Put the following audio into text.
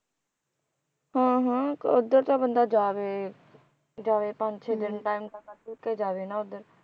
ਹਾਂ ਹਾਂ ਉਧਰ ਤਾਂ ਬੰਦਾ ਜਾਵੇ ਜਾਵੇ ਪੰਜ ਛੇ ਦਿਨ time ਤਾਂ ਕੱਢ ਕੁਢ ਕੇ ਜਾਵੇ ਹਨਾਂ ਉਧਰ